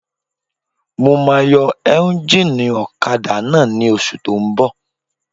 Mo máa yọ éúnjínì ọ̀kadà náà ní oṣù tó n bọ̀